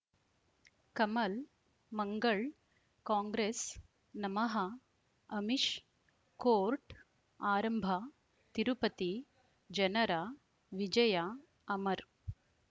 ಕಮಲ್ ಮಂಗಳ್ ಕಾಂಗ್ರೆಸ್ ನಮಃ ಅಮಿಷ್ ಕೋರ್ಟ್ ಆರಂಭ ತಿರುಪತಿ ಜನರ ವಿಜಯ ಅಮರ್